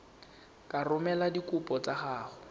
ka romela dikopo tsa gago